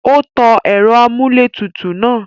Ó tan ẹ̀rọ-amúlétutù náà.